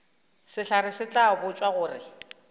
sehlare se tla botšwa gore